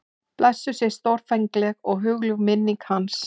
Blessuð sé stórfengleg og hugljúf minning hans.